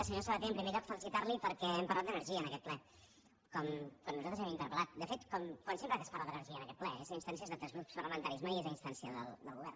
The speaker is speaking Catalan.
senyor sabaté en primer lloc felicitar lo perquè hem parlat d’energia en aquest ple com nosaltres hem interpelque es parla d’energia en aquest ple és a instància d’altres grups parlamentaris mai és a instància del govern